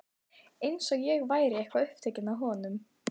Eins og ég væri eitthvað upptekin af honum.